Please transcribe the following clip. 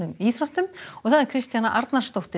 íþróttum Kristjana Arnarsdóttir